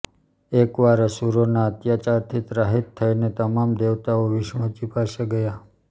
એકવાર અસુરોના અત્યાચારથી ત્રાહિત થઈને તમામ દેવતાઓ વિષ્ણુજી પાસે ગયા